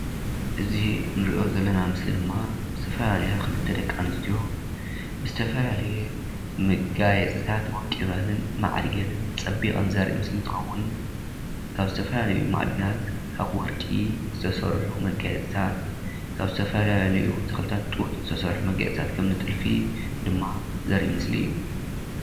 እዚ ንረኦ ዘለና ምሰሊ ድማ ዝተፋላለያ ክልተ ደቂ ኣንስትዮ ዝተፋላለየ መጋየፂታት ወቂበንን ማዕርገንን ፀቢቐንን ዘርኢ ምስሊ እንትኸዉን ካብ ዝተፋላለዩ ማዕድናት ካብ ወረቂ ዝተሰርሑ መጋየፂታት ካብ ዝተፋላለዩ ተክልታት ጡጥ ዝተሰርሑ መጋየፂታት ከማኒ ጥልፊ ድማ ዘርኢ ምስሊ እዩ፡፡